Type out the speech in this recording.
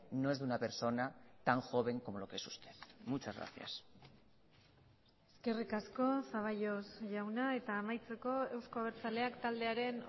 no es de una persona tan joven como lo que es usted muchas gracias eskerrik asko zaballos jauna eta amaitzeko euzko abertzaleak taldearen